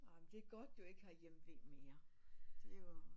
Det er godt du ikke har hjemve mere det er jo